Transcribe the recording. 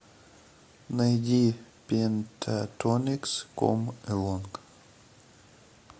найди пентатоникс ком элонг